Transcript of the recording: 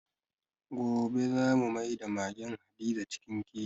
Gobe za mu maida magen Hadiza cikin keji.